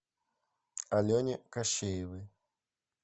алене кощеевой